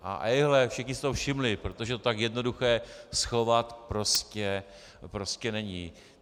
A ejhle, všichni si toho všimli, protože to tak jednoduché schovat prostě není.